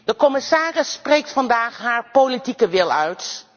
De commissaris spreekt vandaag haar politieke wil uit.